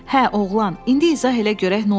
Hə, oğlan, indi izah elə görək nə olub?